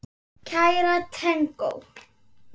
Kæra tengdó.